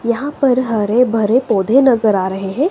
यहां पर हरे भरे पौधे नजर आ रहे हैं।